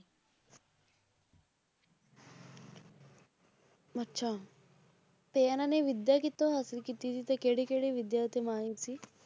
ਅੱਛਾ ਤੇ ਇਹਨਾਂ ਨੇ ਵਿੱਦਿਆ ਕਿਤੋਂ ਹਾਸਲ ਕੀਤੀ ਸੀ ਤੇ ਕਿਹੜੀ ਕਿਹੜੀ ਵਿੱਦਿਆ ਤੇ ਮਾਹਿਰ ਸੀ।